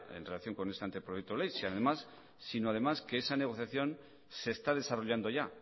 en relación con este anteproyecto de ley además sino además que esa negociación se está desarrollando ya